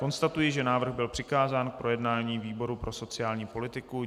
Konstatuji, že návrh byl přikázán k projednání výboru pro sociální politiku.